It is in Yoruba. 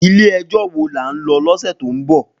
Ilè èjò wó lá n lò lòsè tó n bò?